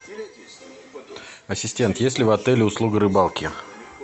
ассистент есть ли в отеле услуга рыбалки